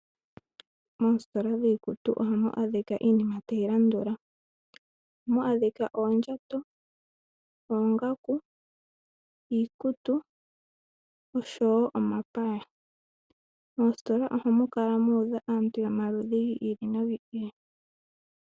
Moostola dhiikutu ohamu adhika iinima tayi landula, ohamu adhika oondjato, oongaku, iikutu nosho wo omapaya. Moostola ohamu kala muudha aantu yomaludhi giili no giili.